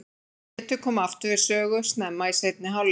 Pétur kom aftur við sögu snemma í seinni hálfleik.